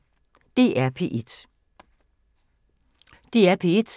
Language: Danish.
DR P1